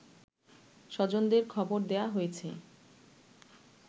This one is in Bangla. স্বজনদের খবর দেয়া হয়েছে